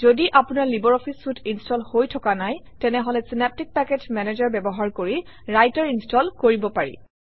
যদি আপোনাৰ লাইব্ৰঅফিছ চুইতে ইনষ্টল হৈ থকা নাই তেনেহলে চিনেপ্টিক পেকেজ মেনেজাৰ ব্যৱহাৰ কৰি ৰাইটাৰ ইনষ্টল কৰিব পাৰি